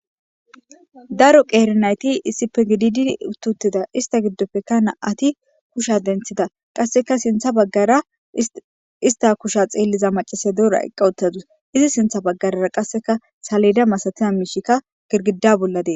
daro qeerinayti isipegididi ututida ista giddofekana ati kusha denthida qasseka sintha baggara ista kusha xeelliza macise doora eqqawuttadus izi sintha baggarara qasseka saleda masatina miishikka girgida bolladee